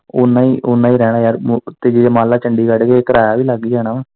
ਉਨਾਂ ਹੀ, ਉਨਾਂ ਹੀ ਰਹਿਣਾ ਯਾਰ ਤੇ ਜੇ ਮੰਨ ਲੈ ਚੰਡੀਗੜ ਗਏ ਕਿਰਾਇਆ ਵੀ ਲੱਗ ਹੀ ਜਾਣਾ ਵਾ।